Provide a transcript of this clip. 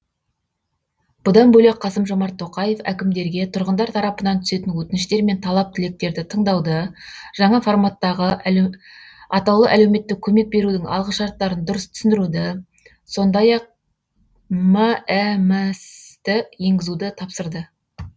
бұдан бөлек қасым жомарт тоқаев әкімдерге тұрғындар тарапынан түсетін өтініштер мен талап тілектерді тыңдауды жаңа форматтағы атаулы әлеуметтік көмек берудің алғышарттарын дұрыс түсіндіруді сондай ақ мәмс ті енгізуді тапсырды